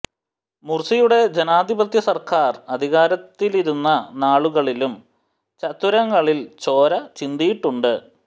മുർസിയുടെ ജനാധിപത്യ സർക്കാർ അധികാരത്തിലിരുന്ന നാളുകളിലും ചത്വരങ്ങളിൽ ചോര ചിന്തിയിട്ടുണ്ട്